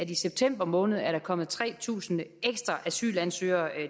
i september måned er kommet tre tusind ekstra asylansøgere